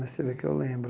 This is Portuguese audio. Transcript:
Você vê que eu lembro.